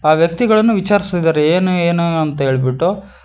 ಆ ವ್ಯಕ್ತಿಗಳನ್ನು ವಿಚಾರಿಸ್ತಿದಾರೆ ಏನು ಏನು ಅಂತ ಹೇಳ್ಬಿಟ್ಟು.